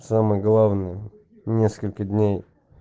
самое главное несколько дней